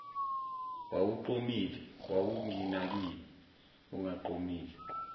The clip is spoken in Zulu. wawuqomile wawunginakeni ungaqomile